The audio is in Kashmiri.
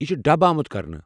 یہِ چھِ ڈب آمٗت کرنہٕ۔